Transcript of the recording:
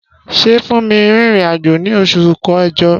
Ṣé Funmi rìnrìn àjò ní oṣù kẹjọ?